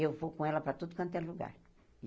Eu vou com ela para tudo quanto é lugar.